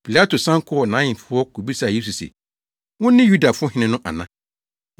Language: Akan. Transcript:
Pilato san kɔɔ nʼahemfi hɔ kobisaa Yesu se, “Wone Yudafo hene no ana?”